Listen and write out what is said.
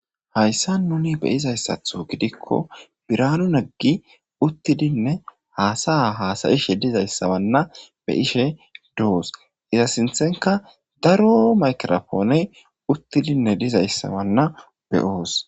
hayssa muni be izayssatho gidikko biraanu naggi uttidinne haasaya haasayishe dizayssawanna be ishe doos iza sinthenka daro makrophooney uttidinne dizayssawanna beyoos